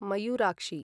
Mayurakshi